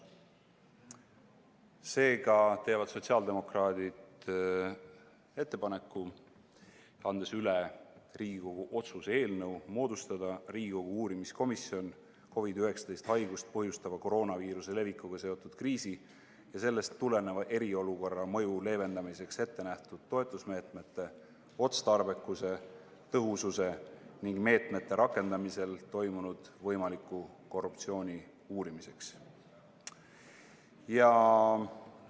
Seega teevad sotsiaaldemokraadid ettepaneku, andes üle Riigikogu otsuse "Riigikogu uurimiskomisjoni moodustamine COVID-19 haigust põhjustava koroonaviiruse levikuga seotud kriisi ja sellest tuleneva eriolukorra mõju leevendamiseks ette nähtud toetusmeetmete otstarbekuse, tõhususe ning meetmete rakendamisel toimunud võimaliku korruptsiooni uurimiseks" eelnõu.